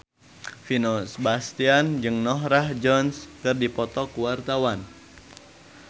Vino Bastian jeung Norah Jones keur dipoto ku wartawan